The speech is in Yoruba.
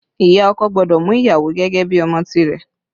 Ìyá ọkọ gbọ́dọ̀ mú ìyàwó gẹ́gẹ́ bí ọmọ tìrẹ